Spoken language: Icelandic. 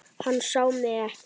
Hann sá mig ekki.